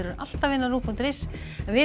alltaf finna á rúv punktur is en við